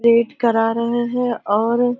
VAT करा रहे हैं और --